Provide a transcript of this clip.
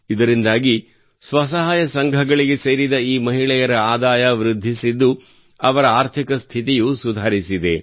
ಇದರಿಂದಾಗಿ ಸ್ವಸಹಾಯ ಸಂಘಗಳಿಗೆ ಸೇರಿದ ಈ ಮಹಿಳೆಯರ ಆದಾಯ ವೃದ್ಧಿಸಿದ್ದು ಅವರ ಆರ್ಥಿಕ ಸ್ಥಿತಿಯೂ ಸುಧಾರಿಸಿದೆ